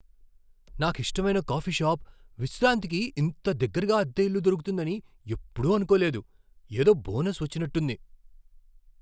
నాకిష్టమైన coffee shop ' Vishranti' కి ఇంత దగ్గరగా అద్దె ఇల్లు దొరుకుతుందని ఎప్పుడూ అనుకోలేదు. ఏదో బోనస్ వచ్చినట్టుంది!